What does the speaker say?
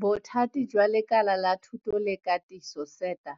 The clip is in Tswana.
Bothati jwa Lekala la Thuto le Katiso, SETA,